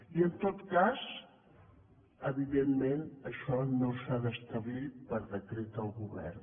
i en tot cas evidentment això no s’ha d’establir per decret del govern